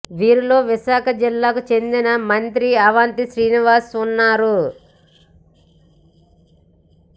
వీరిలో విశాఖ జిల్లాకు చెందిన మంత్రి అవంతి శ్రీనివాస్ ఉన్నారు